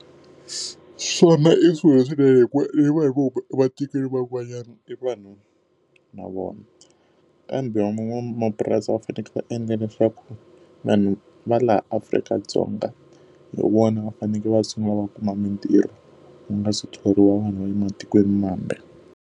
Swona i swilo leswinene hikuva van'wanyana i vanhu na vona. Van'wamapurasi va fanekele va endla leswaku vanhu va laha Afrika-Dzonga, hi vona va fanekele va sungula va kuma mintirho ku nga si thoriwa vanhu va le matikwenimambe.